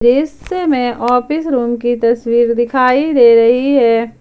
दृश्य में office room की तस्वीर दिखाई दे रही है।